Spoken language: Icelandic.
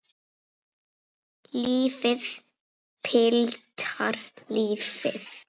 Lífið, piltar, lífið.